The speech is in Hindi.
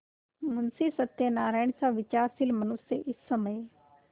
मुंशी सत्यनारायणसा विचारशील मनुष्य इस समय